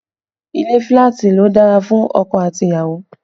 Ilé filati ló dára fún ọkọ àti ìyàwó